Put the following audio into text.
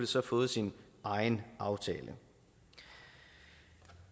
så fået sin egen aftale